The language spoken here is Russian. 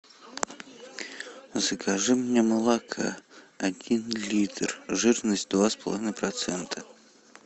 закажи мне молока один литр жирность два с половиной процента